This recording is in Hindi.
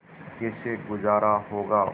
कैसे गुजारा होगा